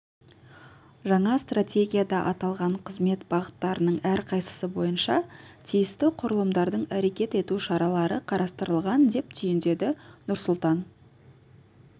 жаңа стратегияда аталған қызмет бағыттарының әрқайсысы бойынша тиісті құрылымдардың әрекет ету шаралары қарастырылған деп түйіндеді нұрсұлтан